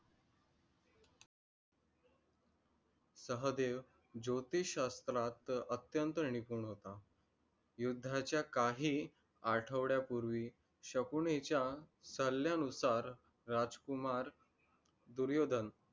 सहदेव ज्योतिष्य शास्त्रात अत्यंत निपुण होता. युद्धांचा काही आठवड्या पूर्वी शकुनीच्या सल्यानुसार राजकुमार दुर्योधन